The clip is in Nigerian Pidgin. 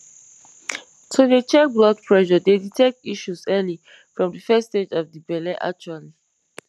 to dey check blood pressure dey detect issues early from de first stage of de belle actually